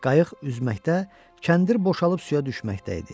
Qayıq üzməkdə, kəndir boşalıb suya düşməkdə idi.